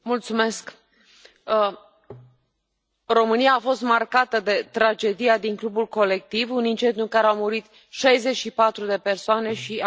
România a fost marcată de tragedia din clubul Colectiv, un incendiu în care au murit 64 de persoane și am avut, și avem 147 de răniți.